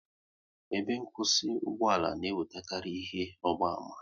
Ebe nkwụsị ugboala na enwekarị ihe ọgba ama